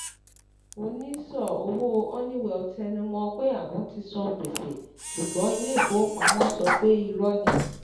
onísọ̀ owó Honeywell tẹnumọ pé àwọn tí san gbèsè ṣùgbọ́n ilé ìfówópamọ́ sọ pé irọ́ ni.